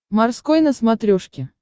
морской на смотрешке